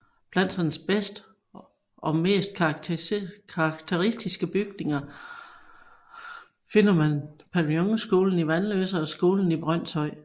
Blandt hans bedste og mest karakteristiske bygninger finder man pavillonskolen i Vanløse og skolen i Brønshøj